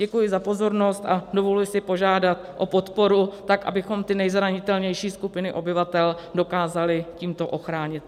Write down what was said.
Děkuji za pozornost a dovoluji si požádat o podporu tak, abychom ty nejzranitelnější skupiny obyvatel dokázali tímto ochránit.